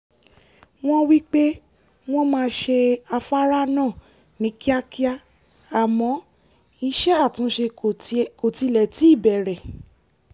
wọ́n wí pé wọ́n máa ṣe afárá náà ní kíákíá àmọ́ iṣẹ́ àtúnṣe kò tilẹ̀ tíì bẹ̀rẹ̀